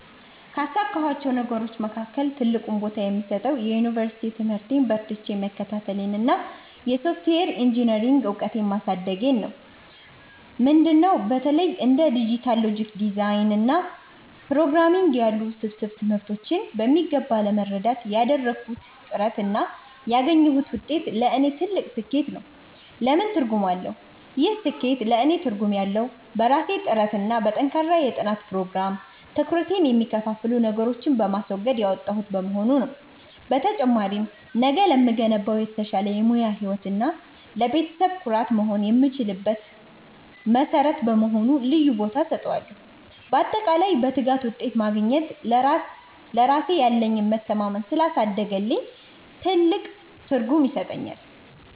ካሳካኋቸው ነገሮች መካከል ትልቁን ቦታ የምሰጠው የዩኒቨርሲቲ ትምህርቴን በርትቼ መከታተሌንና የሶፍትዌር ኢንጂኔሪንግ እውቀቴን ማሳደጌን ነው። ምንድን ነው? በተለይ እንደ ዲጂታል ሎጂክ ዲዛይን እና ፕሮግራምንግ ያሉ ውስብስብ ትምህርቶችን በሚገባ ለመረዳት ያደረግኩት ጥረት እና ያገኘሁት ውጤት ለእኔ ትልቅ ስኬት ነው። ለምን ትርጉም አለው? ይህ ስኬት ለእኔ ትርጉም ያለው፣ በራሴ ጥረትና በጠንካራ የጥናት ፕሮግራም (ትኩረቴን የሚከፋፍሉ ነገሮችን በማስወገድ) ያመጣሁት በመሆኑ ነው። በተጨማሪም፣ ነገ ለምገነባው የተሻለ የሙያ ህይወት እና ለቤተሰቤ ኩራት መሆን የምችልበት መሠረት በመሆኑ ልዩ ቦታ እሰጠዋለሁ። ባጠቃላይ፣ በትጋት ውጤት ማግኘት ለራሴ ያለኝን መተማመን ስላሳደገልኝ ትልቅ ትርጉም ይሰጠኛል።